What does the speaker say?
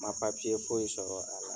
Ma papiye foyi sɔrɔ a la